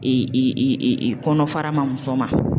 I i i i i kɔnɔ fara ma muso ma.